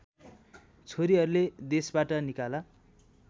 छोरीहरूले देशबाट निकाला